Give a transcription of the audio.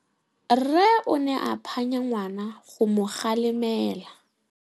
Rre o ne a phanya ngwana go mo galemela.